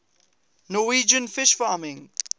norwegian fish farming